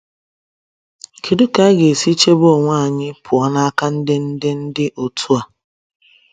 kedụ ka anyi ga esi chebe onwe anyi pụọ n'aka ndi ndi ndi otu a